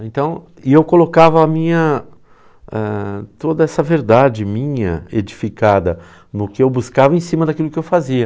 Então... e eu colocava minha... eh toda essa verdade minha edificada no que eu buscava em cima daquilo que eu fazia.